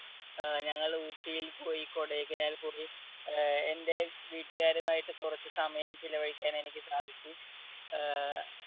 അഹ് ഞങ്ങൾ ഊട്ടിയിൽ പോയി കൊടൈക്കനാൽ പോയി. അഹ് എൻടെ വീട്ടുകാരുമായിട്ട് കുറച്ച് സമയം ചെലവഴിക്കാൻ എനിക്ക് സാധിച്ചു. ആഹ്